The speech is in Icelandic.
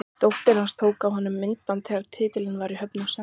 Dóttir hans tók af honum myndband þegar titillinn var í höfn og sendi okkur.